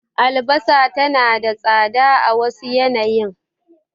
Albasa tana tsada a wasu yanayin.